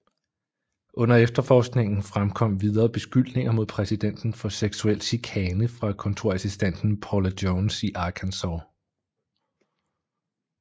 Under efterforskningen fremkom videre beskyldninger mod præsidenten for seksuel chikane fra kontorassistenten Paula Jones i Arkansas